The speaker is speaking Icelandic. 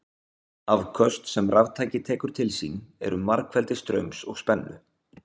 afköst sem raftæki tekur til sín eru margfeldi straums og spennu